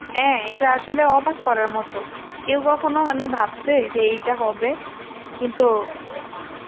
হ্যাঁ এটা আসলে অবাক করার মত কেউ কখনো মানে ভাবসে যে এইটা হবে ? কিন্তু